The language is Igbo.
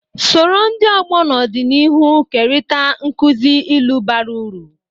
Soro ndị ọgbọ n’ọdịnihu kerịta nkuzi ilu bara uru.